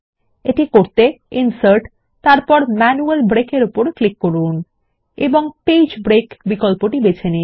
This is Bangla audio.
এটি করতে ইনসার্টগটগট ম্যানুয়াল ব্রেক ক্লিক করুন এবং পেজ ব্রেক বিকল্পটি বেছে নিন